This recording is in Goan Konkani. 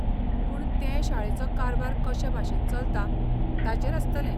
पूण तें शाळेचो कारबार कशे भाशेन चलता ताचेर आसतलें.